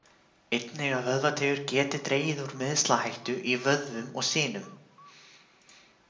Einnig að vöðvateygjur geti dregið úr meiðslahættu í vöðvum og sinum.